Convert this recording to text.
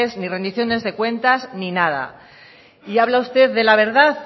ni rendiciones de cuentas ni nada y habla usted de la verdad